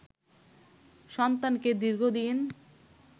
সন্তানকে দীর্ঘদিন